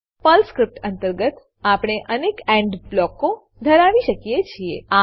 Perl script અંતર્ગત આપણે અનેક એન્ડ બ્લોકો ધરાવી શકીએ છીએ